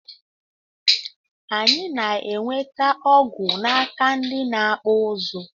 Anyi na enwete ọgụ naka ndi na akpụ ụzụ.